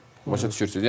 Başa düşürsüz?